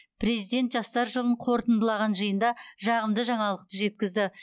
президент жастар жылын қорытындылаған жиында жағымды жаңалықты жеткізді